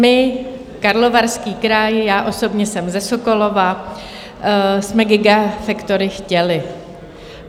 My, Karlovarský kraj, já osobně jsem ze Sokolova, jsme gigafactory chtěli.